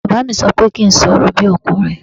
Bàbá mi sọ pé kí n sọ̀rọ̀ bí ọkùnrin